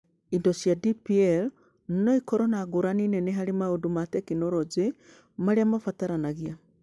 Indo cia DPL no ikorũo na ngũrani nene harĩ maũndũ ma tekinoronjĩ marĩa mabataranagia.